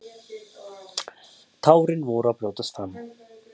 Tárin voru að brjótast fram.